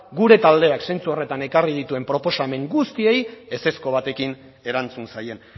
gure taldeak zentzu horretan ekarri dituen proposamen guztiei ezezko batekin erantzun zaien